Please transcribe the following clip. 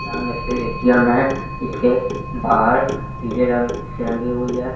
सामने से ए.टी.एम. है | इसके बाहर पीले रंग से रंगी हुई है ।